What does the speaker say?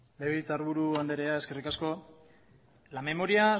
legebiltzarburu andrea eskerrik asko la memoria